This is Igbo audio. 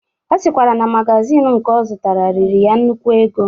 Ọ sịkwara na magazin nke ọ zụtara riri ya nnukwu ego.